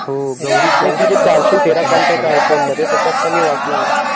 हो गौरी गौरीचे चारशे तेरा contact आहेत फोनमध्ये त्याच्यात मी वाचलेलं आहे